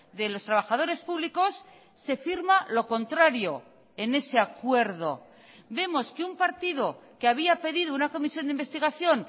de los trabajadores públicos se firma lo contrario en ese acuerdo vemos que un partido que había pedido una comisión de investigación